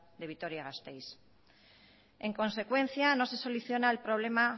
de vitoria gasteiz en consecuencia no se soluciona el problema